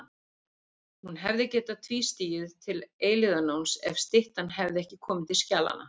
Hún hefði getað tvístigið til eilífðarnóns ef styttan hefði ekki komið til skjalanna.